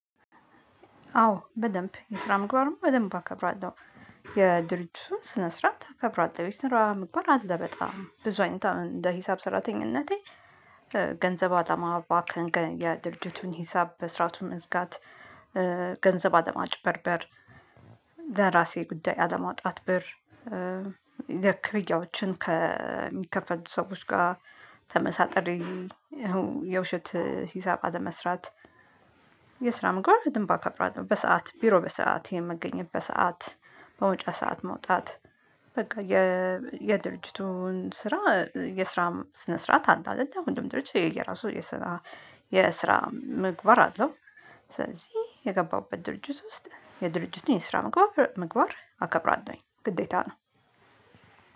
አዎ በደንብ የስራ ምግባር ደግሞ በደንብ አከብራለሁ የድርጅቱን ስነ ስርዓት አከብራለሁ። የስራ ምግባር አለ በጣም፤ ብዙ አይነት እንደ ሂሳብ ሰራተኝነቴ ገንዘብ አጠማ ባንክ፤ የድርጅቱን ሂሳብ በስራቱ መዝጋት፤ ገንዘብ አለማጭበርበር ለራሴ ጉዳይ አለማውጣት ብር፤ ክፍርያዎችን ከሚከፈሉት ሰዎች ጋር ተመሳጥሬ የውሸት ሂሳብ አለመስራት። የስራ ምግባር በደንብ አከብራለው። በሰአት ቢሮ በሰአት የመገኘት፤ በሰአት በመውጫ ሰዓት መውጣት በቃ የድርጅቱን ስራ፣ የስራም ስነ ስርዓት አለ አይደለ፤ ሁሉም ድርጅት የየራሱ የስራ የስራ ምግባር አለው። ስለዚህ የገባሁበት ድርጅት ውስጥ የድርጅቱን የስራ ምግባር አከብራለውኝ ግዴታ ነው።